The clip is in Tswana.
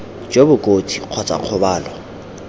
jo bo kotsi kgotsa kgobalo